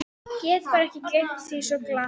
Get bara ekki gleymt því svo glatt.